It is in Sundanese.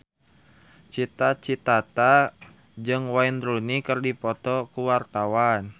Cita Citata jeung Wayne Rooney keur dipoto ku wartawan